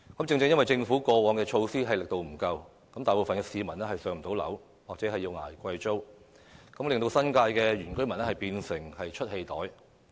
正正由於政府過往推出的措施皆力度不足，大部分市民仍然未能"上樓"或要捱貴租，致令新界原居民變成了"出氣袋"。